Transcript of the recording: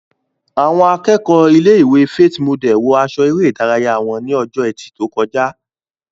Àwọn akẹ́kọ̀ọ́ ilé-ìwé Faith Model wọ aṣọ eré ìdárayá wọn ní ọjọ́ ẹtì tó kọjá